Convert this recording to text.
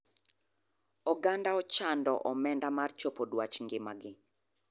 Oganda ochando omenda mar chopo duach ng'ima gi.